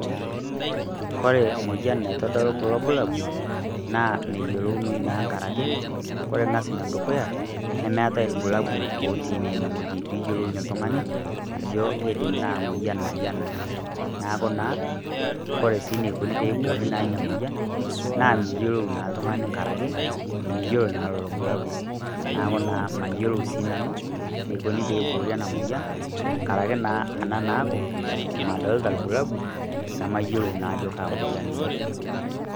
Koree emueyian naitodolu kuulo bulabul naa meyiolounoi nkaraki koree ing'as araki, nemeetae irbulabul otii naa ene wueji liyiolounyie oltung'ani aajo kaa mueyian naaje eena. Niaku naa, koree naa eneikoni peyie eiboori sii eena mueyian, naa miyiolou naa oltung'ani nkaraki, miyiolo naa lelo bulabul. Naaku naa mayiolo naa sinanu eneiko peyie eiboori eena mueyian, nkaraki naa eena naaku, madolta irbulabul nemayiolo naa aajo kaa mueyian iina.